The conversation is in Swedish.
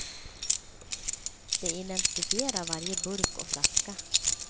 De identifierar varje burk och flaska.